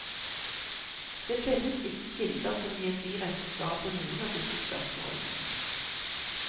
Det finnes ikke kilder som gir direkte svar på noen av disse spørsmålene.